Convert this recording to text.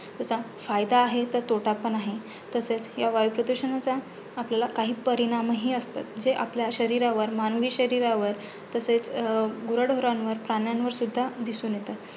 तसा फायदा आहे, तर तोटा पण आहे. तसेच ह्या वायुप्रदुषणाचा आपल्याला काही परिणाम हि असतात. जे आपल्या शरीरावर मानवी शरीरावर तसेच गुराढोरांवर दिसून येतात.